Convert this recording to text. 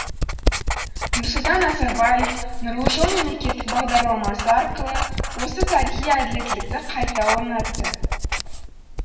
нұрсұлтан назарбаев нұрлы жол мемлекеттік бағдарламасы арқылы осы тарихи әділеттілікті қайта орнатты